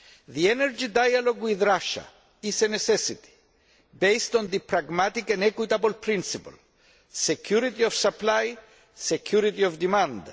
The energy dialogue with Russia is a necessity based on the pragmatic and equitable principle of security of supply and security of demand.